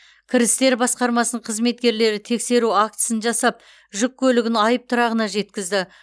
кірістер басқармасының қызметкерлері тексеру актісін жасап жүк көлігін айыптұрағына жеткізді